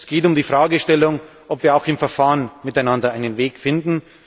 Es geht um die Fragestellung, ob wir auch im Verfahren miteinander einen Weg finden.